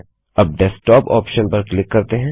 अब desktop option पर click करते हैं